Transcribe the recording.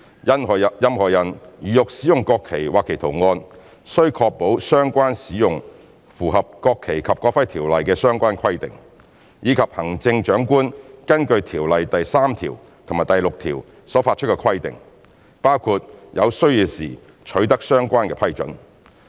任何人如欲使用國旗或其圖案，須確保相關使用符合《國旗及國徽條例》的相關規定，以及行政長官根據條例第3條及第6條所發出的規定，包括有需要時取得相關批准。